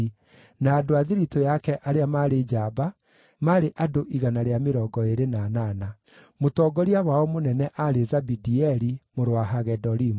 na andũ a thiritũ yake arĩa maarĩ njamba, maarĩ andũ 128. Mũtongoria wao mũnene aarĩ Zabidieli mũrũ wa Hagedolimu.